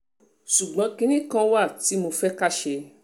ṣùgbọ́n kinní kan wà tí mo fẹ́ ká ṣe